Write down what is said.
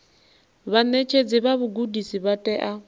vhaṋetshedzi vha vhugudisi vha tea